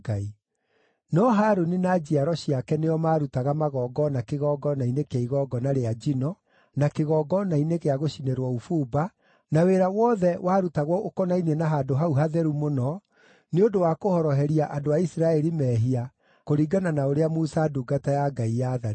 No Harũni na njiaro ciake nĩo maarutaga magongona kĩgongona-inĩ kĩa igongona rĩa njino, na kĩgongona-inĩ gĩa gũcinĩrwo ũbumba, na wĩra wothe warutagwo ũkonainie na Handũ-hau-Hatheru-Mũno, nĩ ũndũ wa kũhoroheria andũ a Isiraeli mehia, kũringana na ũrĩa Musa ndungata ya Ngai yaathanĩte.